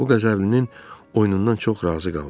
O Qəzəblinin oyunundan çox razı qaldı.